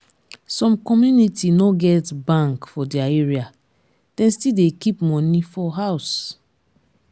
some community no get bank for their area dem still dey keep money for house.